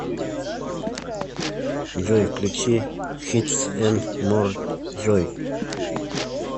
джой включи хитс энд мор джой